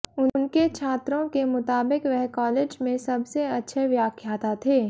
उनके छात्रों के मुताबिक वह कॉलेज में सबसे अच्छे व्याख्याता थे